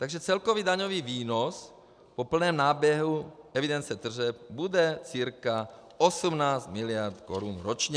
Takže celkový daňový výnos po plném náběhu evidence tržeb bude cca 18 miliard korun ročně.